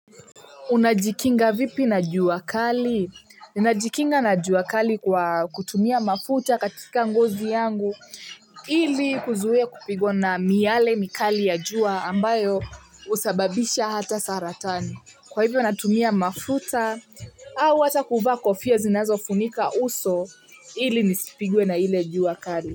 Unajikinga vipi na jua kali najikinga na jua kali kwa kutumia mafuta katika ngozi yangu ili kuzuia kupigwa na miale mikali ya jua ambayo husababisha hata saratani kwa hivyo natumia mafuta au hata kuvaa kofia zinazo funika uso ili nisipigwe na ile jua kali.